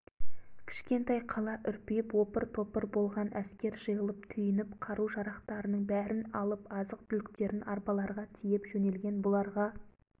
кішкентай қала үрпиіп опыр-топыр болған әскер жиылып түйініп қару-жарақтарының бәрін алып азық-түліктерін арбаларға тиеп жөнелген бұларға